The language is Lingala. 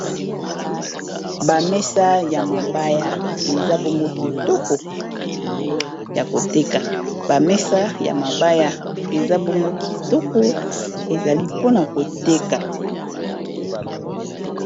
Ba mesa ya mabaya, eza bongo kitoko, ezali po na koteka .